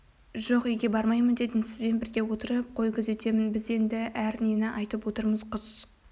жоқ үйге бармаймын дедім сізбен бірге отырып қой күзетемін біз енді әр нені айтып отырмыз құс